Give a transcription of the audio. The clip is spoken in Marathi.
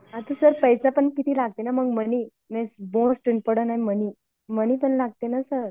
आता सर पैसा पण किती लागते ना मग मनी मीन्स मनी, मनी पण लागते ना सर